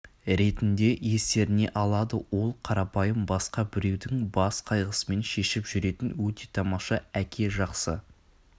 ретінде естеріне алады ол қарапайым басқа біреудің бас қайғысымен шешіп жүретін өте тамаша әке жақсы